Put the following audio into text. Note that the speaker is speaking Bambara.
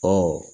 Ɔ